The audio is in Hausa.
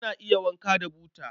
Ana iya wanka da buta.